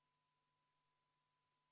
Oleme 37. muudatusettepaneku juures.